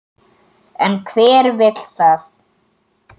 En hver vill það?